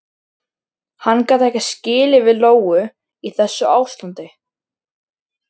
Hann gat ekki skilið við Lóu í þessu ástandi.